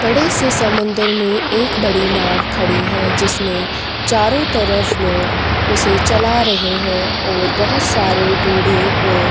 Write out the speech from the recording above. बड़े से समुंदर में एक बड़ी नाव खड़ी है जिसने चारों तरफ लोग उसे चला रहे हैं और बहुत सारे बूढ़े और --